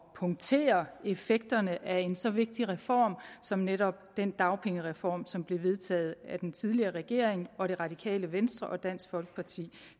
punktere effekterne af en så vigtig reform som netop den dagpengereform som blev vedtaget af den tidligere regering og det radikale venstre og dansk folkeparti